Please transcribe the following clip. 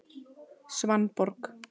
Svanborg